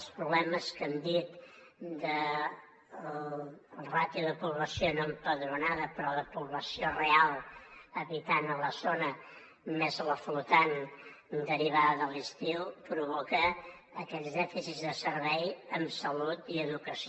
els problemes que hem dit de la ràtio de població no empadronada però de població real habitant a la zona més la flotant derivada de l’estiu provoquen aquests dèficits de serveis en salut i educació